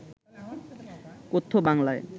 কথ্য বাংলায়